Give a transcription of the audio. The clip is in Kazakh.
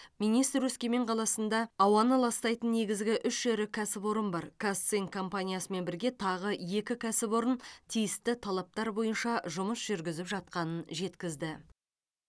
министр өскемен қаласында ауаны ластайтын негізгі үш ірі кәсіпорын барын казцинк компаниясымен бірге тағы екі кәсіпорын тиісті талаптар бойынша жұмыс жүргізіп жатқанын жеткізді